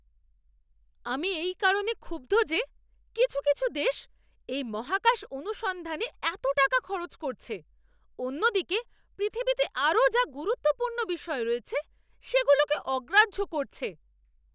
আমি এই কারণে ক্ষুব্ধ যে কিছু কিছু দেশ এই মহাকাশ অনুসন্ধানে এত টাকা খরচা করছে, অন্যদিকে পৃথিবীতে আরও যা গুরুত্বপূর্ণ বিষয় রয়েছে সেগুলোকে অগ্রাহ্য করছে।